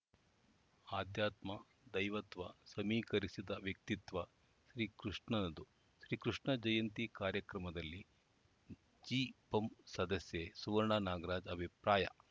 ಆಧ್ಯಾತ್ಮ ದೈವತ್ವ ಸಮೀಕರಿಸಿದ ವ್ಯಕ್ತಿತ್ವ ಶ್ರೀಕೃಷ್ಣನದು ಶ್ರೀಕೃಷ್ಣ ಜಯಂತಿ ಕಾರ್ಯಕ್ರಮದಲ್ಲಿ ಜಿಪಂ ಸದಸ್ಯೆ ಸುವರ್ಣ ನಾಗರಾಜ ಅಭಿಪ್ರಾಯ